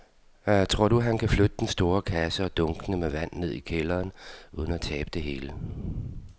Tror du, at han kan flytte den store kasse og dunkene med vand ned i kælderen uden at tabe det hele?